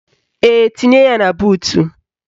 Ee, tinye ya na buutu